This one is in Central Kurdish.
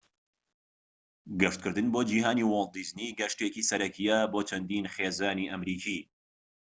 گەشتکردن بۆ جیھانی واڵت دیزنی گەشتێکی سەرەکیە بۆ چەندین خێزانی ئەمریکی